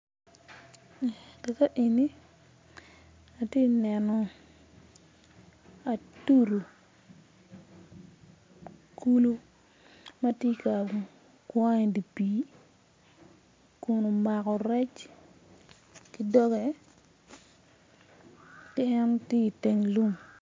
Ka ka eni atye kaneno atudu kulu ma gitye ka kwan i pii kun omako rec i doge kun tye i pii